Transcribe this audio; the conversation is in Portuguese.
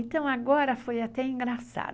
Então, agora foi até engraçado.